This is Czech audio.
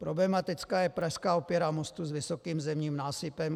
Problematická je prasklá opěra mostu s vysokým zemním násypem.